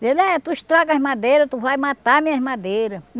Dizia, eh tu estraga as madeiras, tu vai matar minhas madeiras.